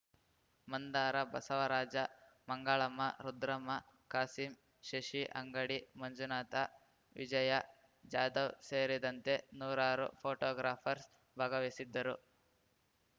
ಮಂದಾರ ಬಸವರಾಜ ಮಂಗಳಮ್ಮ ರುದ್ರಮ್ಮ ಖಾಸಿಂ ಶಶಿ ಅಂಗಡಿ ಮಂಜುನಾಥ ವಿಜಯ ಜಾಧವ್‌ ಸೇರಿದಂತೆ ನೂರಾರು ಫೋಟೋಗ್ರಾಫರ್ಸ್ ಭಾಗವಹಿಸಿದ್ದರು